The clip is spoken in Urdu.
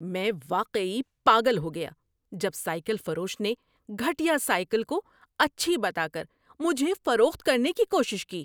میں واقعی پاگل ہو گیا جب سائیکل فروش نے گھٹیا سائیکل کو اچھی بتا کر مجھے فروخت کرنے کی کوشش کی۔